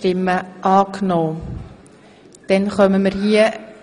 Sie haben Ziffer eins überwiesen.